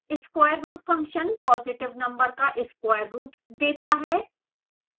sqrt function positive number का square root देता है